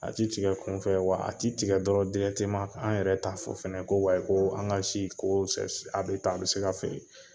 A ti tigɛ kunfɛ, wa a ti tigɛ an yɛrɛ t'a fɔ fɛnɛ ko an ka si, ko a bi tan a bi se ka feere.